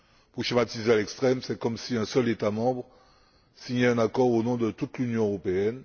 Pour schématiser à l'extrême, c'est comme si un seul État membre signait un accord au nom de toute l'Union européenne.